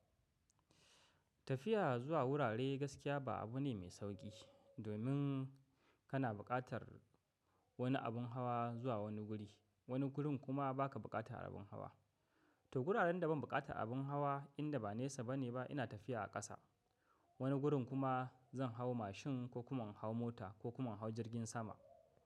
Tafiya zuwa wurare gaskiya ba abu ne mai sauƙi, domin kana bukatar wani abin hawa zuwa wani guri, wani gurin kuma ba ka bukatar abin hawa. To, wuraren da ban bukatar abin hawa inda ba nesa bane ba ina tafiya a ƙasa, wani gurin kuma zan hau mashin ko kuma in hau mota ko kuma in hau jirgin sama.